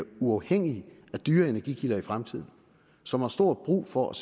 uafhængig af dyre energikilder i fremtiden og som har stor brug for